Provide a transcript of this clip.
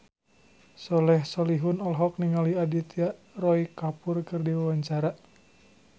Soleh Solihun olohok ningali Aditya Roy Kapoor keur diwawancara